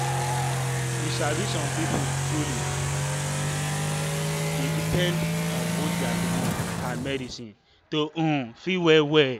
you sabi some people truly dey depend on both their belief and medicine to um feel well well.